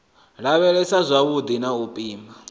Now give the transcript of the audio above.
lavhelesa zwavhudi na u pima